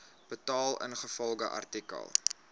betaal ingevolge artikel